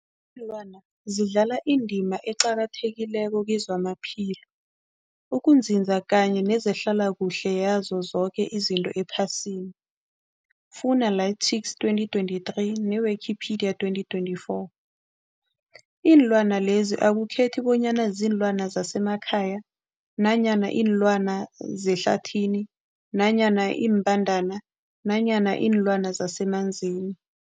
Ilwana zidlala indima eqakathekileko kezamaphilo, ukunzinza kanye nezehlala kuhle yazo zoke izinto ephasini, Fuanalytics 2023, ne-Wikipedia 2024. Iinlwana lezi akukhethi bonyana ziinlwana zemakhaya nanyana kuziinlwana zehlathini nanyana iimbandana nanyana iinlwana zemanzini.